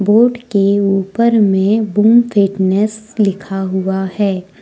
Board के ऊपर में बूम फिटनेस लिखा हुआ है।